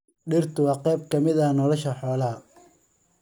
Dhirtu waa qayb ka mid ah nolosha xoolaha.